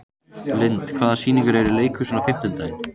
Lynd, hvaða sýningar eru í leikhúsinu á fimmtudaginn?